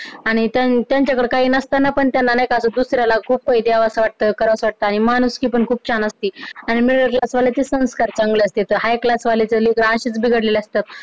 आणि त्यांच्याकडं काही नसताना पण नाही का दुसर्यांना खूप काही द्यावंसं वाटत, करावंसं वाटत आणि माणूसकि पण खूप छान असते आणि middle class वाल्यांचे संस्कार चांगले असते, high class वाले तर असेच बिघडलेले असतात